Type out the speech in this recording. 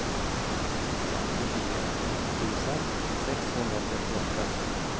femtiofyra tusen sexhundratrettioåtta